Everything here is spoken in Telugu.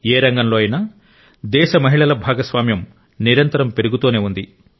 ఏ రంగంలో అయినా దేశ మహిళల భాగస్వామ్యం నిరంతరం పెరుగుతూనే ఉంది